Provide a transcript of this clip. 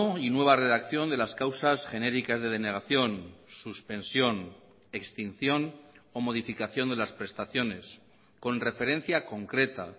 y nueva redacción de las causas genéricas de denegación suspensión extinción o modificación de las prestaciones con referencia concreta